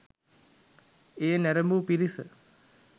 එය නැරඹූ පිරිස